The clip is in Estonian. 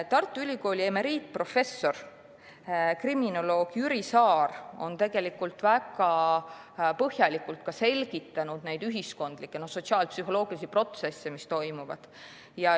Tartu Ülikooli emeriitprofessor kriminoloog Jüri Saar on väga põhjalikult selgitanud neid ühiskondlikke sotsiaalpsühholoogilisi protsesse, mis toimuvad.